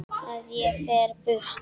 Að ég fer burt.